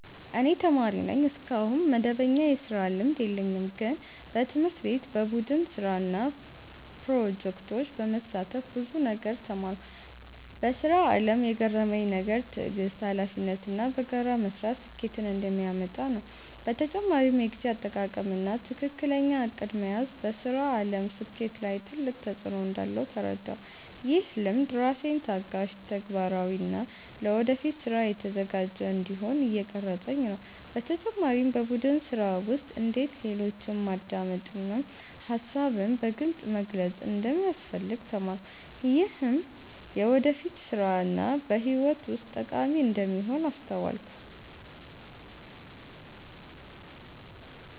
እኔ ተማሪ ነኝ፣ እስካሁን መደበኛ የስራ ልምድ የለኝም። ግን በትምህርት ቤት በቡድን ስራ እና ፕሮጀክቶች በመሳተፍ ብዙ ነገር ተማርኩ። በስራ አለም የገረመኝ ነገር ትዕግስት፣ ሀላፊነት እና በጋራ መስራት ስኬትን እንደሚያመጣ ነው። በተጨማሪም የጊዜ አጠቃቀም እና ትክክለኛ እቅድ መያዝ በስራ አለም ስኬት ላይ ትልቅ ተፅዕኖ እንዳለው ተረዳሁ። ይህ ልምድ ራሴን ታጋሽ፣ ተግባራዊ እና ለወደፊት ስራ የተዘጋጀ እንዲሆን እየቀረፀኝ ነው። በተጨማሪም በቡድን ስራ ውስጥ እንዴት ሌሎችን ማዳመጥ እና ሀሳብን በግልፅ መግለጽ እንደሚያስፈልግ ተማርኩ። ይህም በወደፊት ስራ እና በህይወት ውስጥ ጠቃሚ እንደሚሆን አስተዋልኩ።